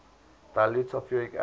dilute sulfuric acid